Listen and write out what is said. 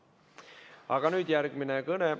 Aga nüüd järgmine kõne.